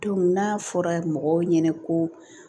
n'a fɔra mɔgɔw ɲɛna ko